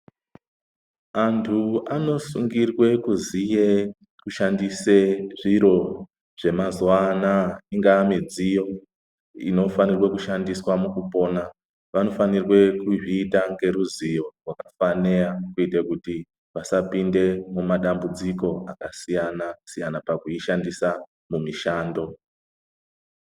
Antu anosungirwe kuziye kushandise zviro zvemazuwa anaa ingaa midziyo inofanirwe kushandiswa mukupona vanofanirwe kuzviita ngeruzivo rwakafaneya kuite kuti vasapinda muma dambudziko akasiyana-siyana pakuishandisa mumishando.